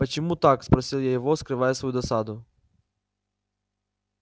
почему так спросил я его скрывая свою досаду